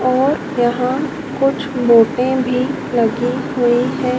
और यहां कुछ मोटे भी लगी हुई हैं।